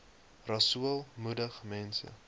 rasool moedig mense